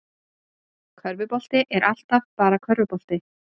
Körfubolti er alltaf bara körfubolti